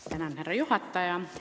Austatud härra juhataja!